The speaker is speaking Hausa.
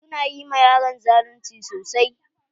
Su na yi ma yaron zalunci sosai.